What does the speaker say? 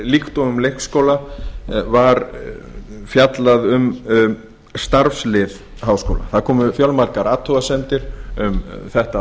líkt og um leikskóla var falla um starfslið háskóla það komu fjölmargar athugasemdir um þetta